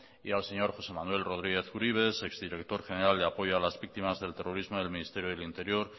y al señor josé manuel rodríguez uribe exdirector general de apoyo a las víctimas del terrorismo del ministerio del interior